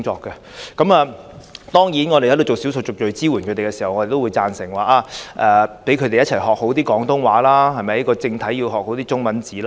他們為少數族裔提供支援時，也會認同應讓他們學好廣東話和正體中文字。